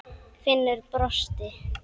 Finnur brosti.